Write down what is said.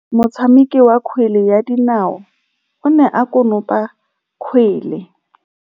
Motshameki wa kgwele ya dinaô o ne a konopa kgwele.